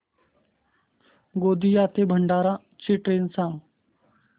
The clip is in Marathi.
गोंदिया ते भंडारा ची ट्रेन सांग